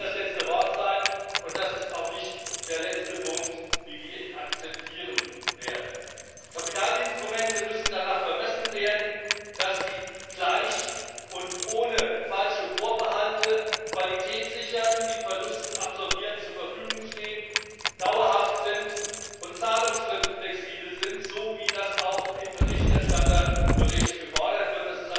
Das kann nicht das letzte Wort sein, und das ist auch nicht der letzte Punkt, wie wir ihn akzeptieren werden. Die Kapitalinstrumente müssen daran gemessen werden, inwiefern sie gleich und ohne falsche Vorbehalte Qualität sichern, bei Verlusten absorbierend zur Verfügung stehen, dauerhaft und zahlungsflexibel sind, so wie das auch vom Berichterstatter in seinem Bericht gefordert wird.